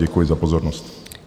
Děkuji za pozornost.